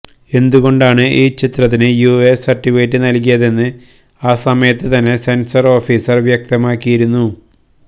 എന്തുകൊണ്ടാണ് ഈ ചിത്രത്തിന് യുഎ സർട്ടിഫിക്കറ്റ് നൽകിയതെന്ന് ആ സമയത്ത് തന്നെ സെൻസർ ഓഫീസർ വ്യക്തമാക്കിയിരുന്നു